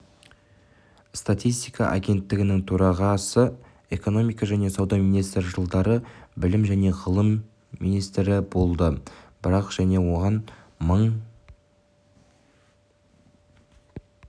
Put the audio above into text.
статистика агенттігінің төрағасы экономика және сауда министрі жылдары білім жәнеғылым министрі болды бірақ жылы оған мың